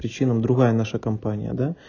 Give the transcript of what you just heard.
причина другая наша компания да